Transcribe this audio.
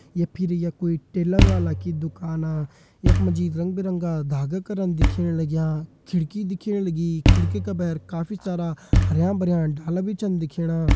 ये फिर ये कोई टेलर वाला की दुकाना यख मा जी रंग बिरंगा धागा करन दिखेण लग्यां खिड़की दिखेण लगीं खिड़की का भैर काफी सारा हरयां भरयां डाला भी छन दिखेणा।